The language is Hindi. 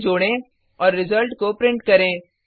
उन्हें जोडें और रिजल्ट को प्रिंट करें